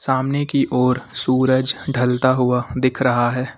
सामने की ओर सूरज ढलता हुआ दिख रहा है।